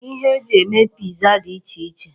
Ihe e ji eme piza dị iche iche.